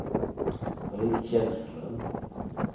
Britt Källström